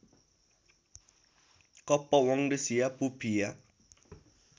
कप्पवडंसिया पुप्फिया